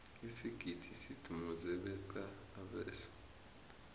isigidi sidumuze beqa abeswa